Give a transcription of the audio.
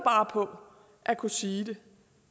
på at kunne sige det